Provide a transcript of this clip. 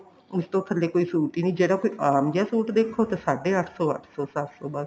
ਉਸ ਤੋਂ ਥੱਲੇ ਕੋਈ suit ਈ ਨੀ ਜਿਹੜਾ ਕੋਈ ਆਮ ਜਿਹਾ suit ਦੇਖੋ ਤਾਂ ਸਾਡੇ ਅੱਠ ਸੋ ਅੱਠ ਸੋ ਸੱਤ ਸੋ ਬੱਸ